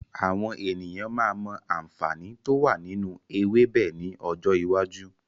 Àwọn ènìyàn máa mọ àǹfààní to wá nínú ewébẹ̀ ni ọjọ́ iwájú.